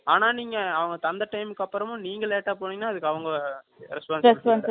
ஆனா, நீங்க, அவங்க தந்த time க்கு அப்புறமும், நீங்க late ஆ போனீங்கன்னா, அதுக்கு அவங்க, response இல்லை